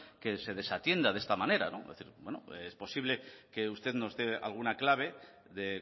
que se desatienda de esta manera es posible que usted nos dé alguna clave de